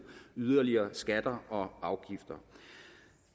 yderligere skatter og afgifter